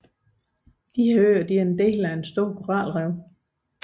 Øerne er en del af et stort koralrev